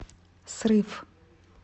срыв